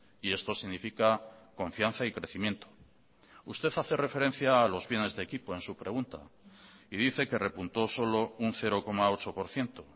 y esto significa confianza y crecimiento usted hace referencia a los bienes de equipo en su pregunta y dice que repuntó solo un cero coma ocho por ciento